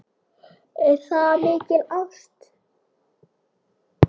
Er það mikil ást?